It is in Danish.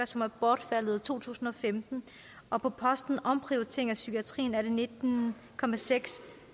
som er bortfaldet i to tusind og femten og på posten omprioritering af psykiatrien er det nitten